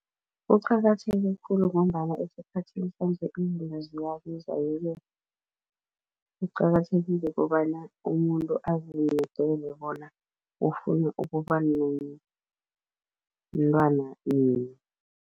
Kuqakatheke khulu ngombana esikhathini sanje izinto ziyabiza yeke kuqakathekile kobana umuntu azimedele bona ufuna ukuba nomntwana nini.